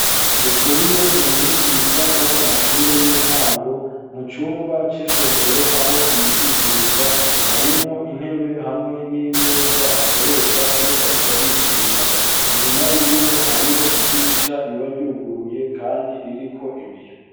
Ndikuriyo n'umwigisha wo mu mashure y'intango mu cumba c'isomero aho yigishiriza harimwo intebe hamwe n'imeza akoresha iyo arikarigisha inyuma yiwe hariho idirisha riba ryuguruye kandi ririko ibiyo.